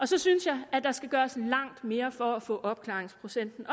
så synes jeg at der skal gøres langt mere for at få opklaringsprocenten